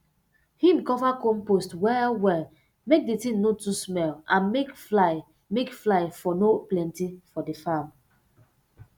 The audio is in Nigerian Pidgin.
him cover compost well well make d tin no too smell and make fly make fly um no plenty for di farm